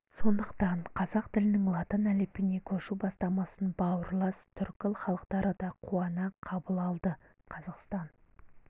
сондықтан қазақ тілінің латын әліпбиіне көшу бастамасын бауырлас түркі халықтары да қуана қабыл алды қазақстан